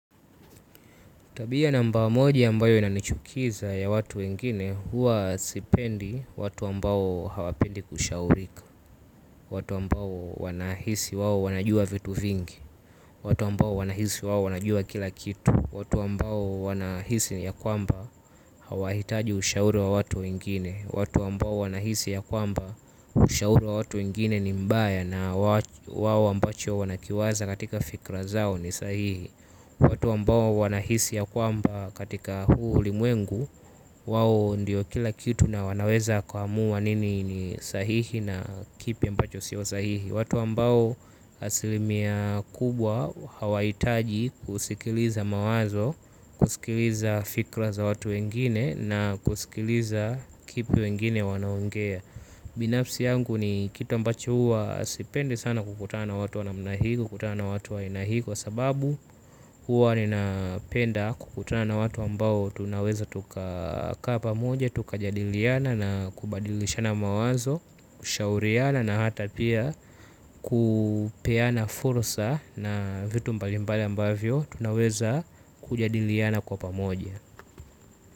Tabia namba moja ambayo inanichukiza ya watu wengine huwa sipendi watu ambao hawapendi kushaurika. Watu ambao wanahisi wao wanajua vitu vingi. Watu ambao wanahisi wao wanajua kila kitu. Watu ambao wanahisi ya kwamba hawahitaji ushauri wa watu wengine. Watu ambao wanahisi ya kwamba ushauri wa watu wengine ni mbaya na wao ambacho wanakiwaza katika fikra zao ni sahihi. Watu ambao wanahisi ya kwamba katika huu ulimwengu, wao ndiyo kila kitu na wanaweza kuamua nini ni sahihi na kipi ambacho sio sahihi. Watu ambao asilimia kubwa hawahitaji kusikiliza mawazo, kusikiliza fikra za watu wengine na kusikiliza kipi wengine wanaongea. Binafsi yangu ni kitu ambacho huwa sipendi sana kukutana na watu wa namna hii, kukutana na watu wa aina hii. Kwa sababu huwa ninapenda kukutana na watu ambao tunaweza tuka kaa pamoja, tukajadiliana na kubadilishana mawazo. Kushauriana na hata pia kupeana fursa na vitu mbalimbali ambavyo tunaweza kujadiliana kwa pamoja.